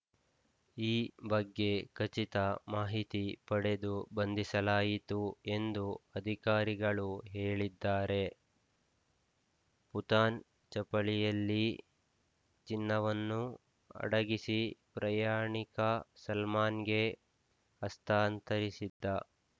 ಈ ಬಗ್ಗೆ ಖಚಿತ ಮಾಹಿತಿ ಪಡೆದು ಬಂಧಿಸಲಾಯಿತು ಎಂದು ಅಧಿಕಾರಿಗಳು ಹೇಳಿದ್ದಾರೆ ಪುಥಾನ್‌ ಚಪ್ಪಲಿಯಲ್ಲಿ ಚಿನ್ನವನ್ನು ಅಡಗಿಸಿ ಪ್ರಯಾಣಿಕ ಸಲ್ಮಾನ್‌ಗೆ ಹಸ್ತಾಂತರಿಸಿದ್ದ